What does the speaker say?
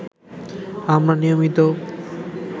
আমরা নিয়মিত